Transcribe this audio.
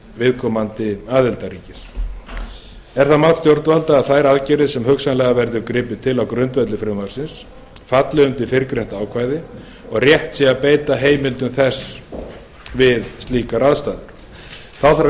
viðkomandi aðildarríkis er það mat stjórnvalda að þær aðgerðir sem hugsanlega verður gripið til á grundvelli frumvarpsins falli undir fyrrgreint ákvæði og rétt sé að beita heimildum þess við slíkar aðstæður þá þarf einnig